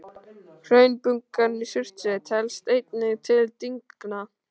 Hraunbungan í Surtsey telst einnig til dyngna.